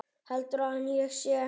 Heldur hann að ég sé.